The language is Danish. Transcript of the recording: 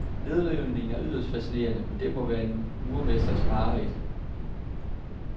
Nedrivningen er yderst fascinerende, men det må være en murermesters mareridt.